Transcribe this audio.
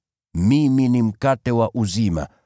Mimi ni mkate wa uzima.